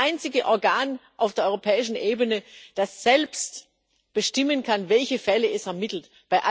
die einzige Einrichtung auf der europäischen Ebene ist, die selbst bestimmen kann, welche Fälle sie ermittelt.